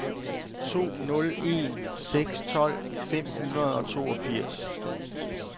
to nul en seks tolv fem hundrede og toogfirs